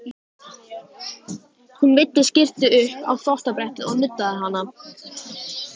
Hún veiddi skyrtu upp á þvottabrettið og nuddaði hana.